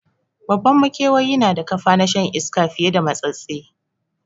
Babban makewayi na da kafa na shan iska fiye da matsatstse